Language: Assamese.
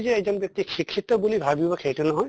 যে এজন ব্য়ক্তি শিক্ষিত বুলি ভাবিব সেইটো নহয়